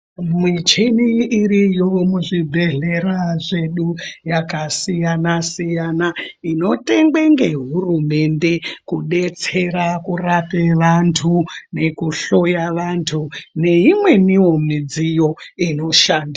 Michini iriyo muzvibhehlera zvedu, yakasiyana -siyana inotengwe ngehurumende Kudetsera kurape vantu nekuhloya vantu neimweniwo midziyo inoshandi...